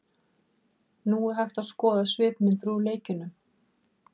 Nú er hægt að skoða svipmyndir úr leikjunum.